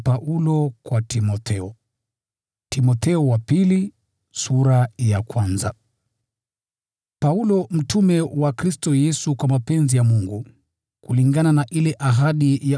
Paulo mtume wa Kristo Yesu kwa mapenzi ya Mungu, kulingana na ile ahadi ya uzima uliomo ndani ya Kristo Yesu.